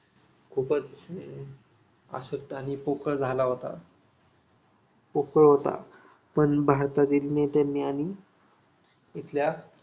खूपच अशक्त आणि पोकळ झाला होता पोकळ होता पण भारतातील नेत्यांनी आणि तिथल्या